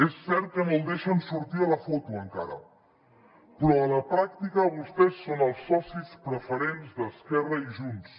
és cert que no el deixen sortir a la foto encara però a la pràctica vostès són els socis preferents d’esquerra i junts